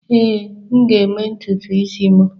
Ee, m ga-eme ntutu isi m.